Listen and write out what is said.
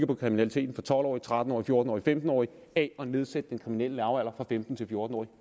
om kriminaliteten for tolv årige tretten årige fjorten årige og femten årige af at nedsætte den kriminelle lavalder fra femten til fjorten år